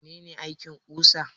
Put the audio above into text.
Mene ne aikin ƙusa?